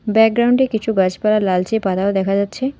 ব্যাকগ্রাউন্ডে কিছু গাছপালা লালচে পাতাও দেখা যাচ্ছে।